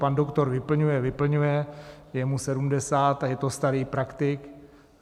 Pan doktor vyplňuje, vyplňuje, je mu 70 a je to starý praktik.